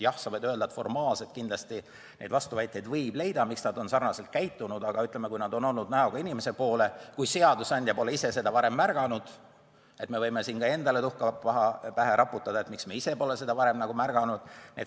Jah, sa võid öelda, et formaalselt kindlasti võib leida vastuväiteid, miks nad on nii käitunud, aga kui nad on olnud näoga inimese poole ja seadusandja ise pole seda varem märganud, siis me võime endale tuhka pähe raputada ja mõelda, miks me ise pole varem midagi märganud.